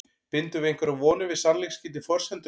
Bindum við einhverjar vonir við sannleiksgildi forsendunnar?